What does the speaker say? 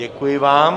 Děkuji vám.